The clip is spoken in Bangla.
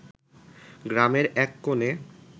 গ্রামের এক কোনে